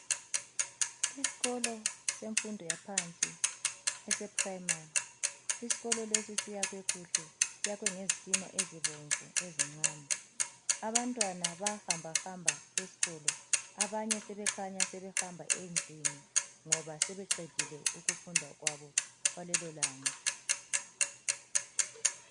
Isikolo semfundo yaphansi eseprimary .Isikolo lesi siyakhiwe kuhle ,sakhiwe ngezitina ezibomvu ezincane. Abantwana bayahamba hamba esikolo. Abanye sebekhanya sebehamba endlini ngoba sebeqedile ukufunda kwabo kwalelo langa.